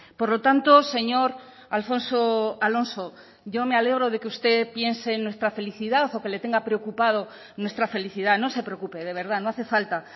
por lo tanto señor alfonso alonso yo me alegro de que usted piense en nuestra felicidad o que le tenga preocupado nuestra felicidad no se preocupe de verdad no hace falta